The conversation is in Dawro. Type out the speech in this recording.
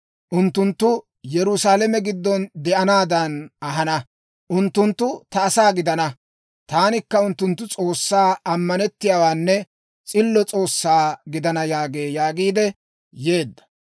Unttunttu Yerusaalame giddon de'anaadan ahana. Unttunttu ta asaa gidana; taanikka unttunttu S'oossaa, ammanettiyaanne s'illo S'oossaa gidana› yaagee» yaagiid yeedda.